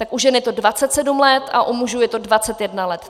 Tak u žen je to 27 let a u mužů je to 21 let.